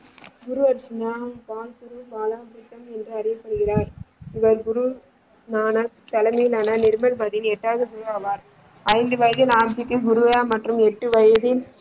குரு அர்ஜுனா பாலகுரு பால என்று அறியப்படுகிறார் இவர் குரு ஞான தலைமையிலான நிர்மல் பதிவின் எட்டாவது குரு ஆவார் ஐந்து வயதில் ஆரம்பிக்கும் குருவையா மற்றும் எட்டு வயதில்.